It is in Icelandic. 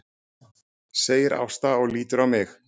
segir Ásta og lítur á mig.